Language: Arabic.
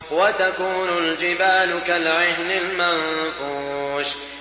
وَتَكُونُ الْجِبَالُ كَالْعِهْنِ الْمَنفُوشِ